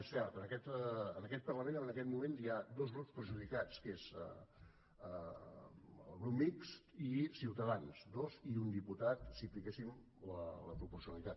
és cert en aquest parlament en aquest moment hi ha dos grups perjudicats que són el grup mixt i ciutadans dos i un diputats si apliquéssim la proporcionalitat